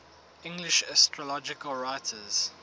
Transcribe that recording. english astrological writers